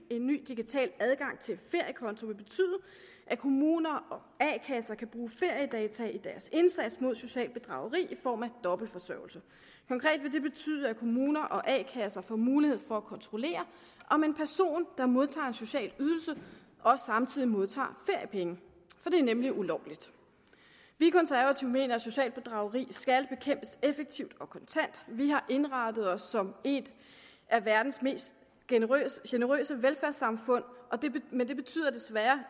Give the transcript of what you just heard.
en ny digital adgang til feriekonto vil betyde at kommuner og a kasser kan bruge feriedata i deres indsats mod socialt bedrageri i form af dobbeltforsørgelse konkret vil det betyde at kommuner og a kasser får mulighed for at kontrollere om en person der modtager en social ydelse også samtidig modtager feriepenge for det er nemlig ulovligt vi konservative mener at socialt bedrageri skal bekæmpes effektivt og kontant vi har indrettet os som et af verdens mest generøse velfærdssamfund men det betyder desværre